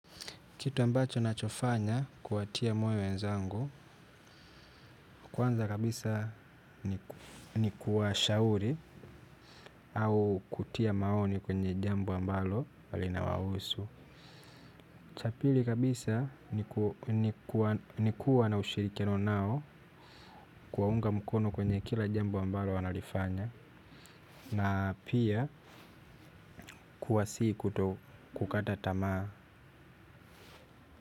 Kitu ambacho nachofanya kuwatia moyo wenzangu kwanza kabisa ni kuwashauri au kutia maoni kwenye jambo ambalo linawahusu. Cha pili kabisa ni kuwa na ushirikiano nao kuwaunga mkono kwenye kila jambo ambalo wanalifanya na pia kuwa sii kukata tamaa.